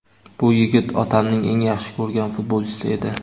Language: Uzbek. Bu yigit otamning eng yaxshi ko‘rgan futbolchisi edi.